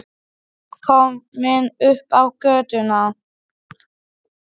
Komin upp á götuna.